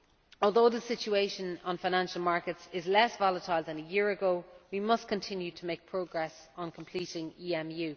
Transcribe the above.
Although the situation on financial markets is less volatile than a year ago, we must continue to make progress on completing EMU.